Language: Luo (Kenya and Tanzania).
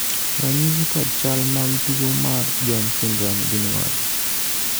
ranyisi kod chal mag tuo mar Jones syndrome gin mage?